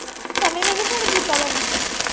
ਸੰਨੀ ਨੇ ਨੀ phone ਕੀਤਾ ਤੈਨੂੰ।